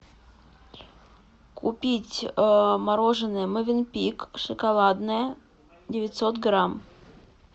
купить мороженое мовенпик шоколадное девятьсот грамм